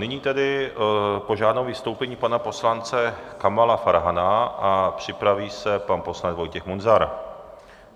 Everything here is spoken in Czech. Nyní tedy požádám o vystoupení pana poslance Kamala Farhana a připraví se pan poslanec Vojtěch Munzar.